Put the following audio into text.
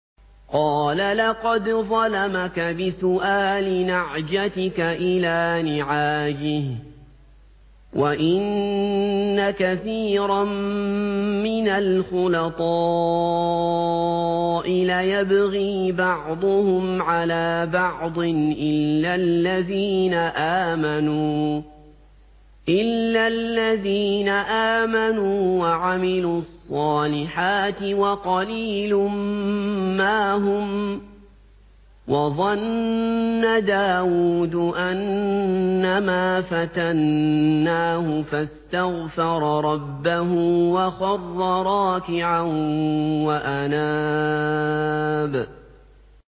قَالَ لَقَدْ ظَلَمَكَ بِسُؤَالِ نَعْجَتِكَ إِلَىٰ نِعَاجِهِ ۖ وَإِنَّ كَثِيرًا مِّنَ الْخُلَطَاءِ لَيَبْغِي بَعْضُهُمْ عَلَىٰ بَعْضٍ إِلَّا الَّذِينَ آمَنُوا وَعَمِلُوا الصَّالِحَاتِ وَقَلِيلٌ مَّا هُمْ ۗ وَظَنَّ دَاوُودُ أَنَّمَا فَتَنَّاهُ فَاسْتَغْفَرَ رَبَّهُ وَخَرَّ رَاكِعًا وَأَنَابَ ۩